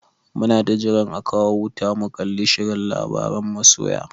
Muna ta jiran a kawo wuta mu kalli shirin labaran masoya.